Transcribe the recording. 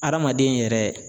Adamaden yɛrɛ